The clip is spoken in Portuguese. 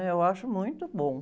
É, eu acho muito bom.